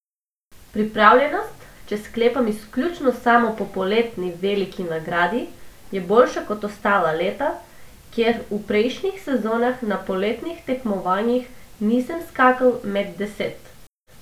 Pripravljenost, če sklepam izključno samo po poletni veliki nagradi, je boljša kot ostala leta, ker v prejšnjih sezonah na poletnih tekmovanjih nisem skakal med deset.